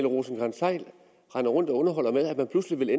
rosenkrantz theil render rundt og underholder med er at der pludselig